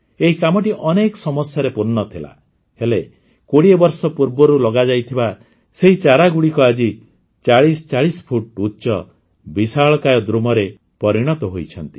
ଏହି କାମଟି ଅନେକ ସମସ୍ୟାରେ ପୂର୍ଣ୍ଣ ଥିଲା ହେଲେ ୨୦ ବର୍ଷ ପୂର୍ବରୁ ଲଗାଯାଇଥିବା ସେହି ଚାରାଗୁଡ଼ିକ ଆଜି ୪୦୪୦ ଫୁଟ ଉଚ୍ଚ ବିଶାଳକାୟ ଦ୍ରୁମରେ ପରିଣତ ହୋଇଛନ୍ତି